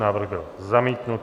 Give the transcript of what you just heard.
Návrh byl zamítnut.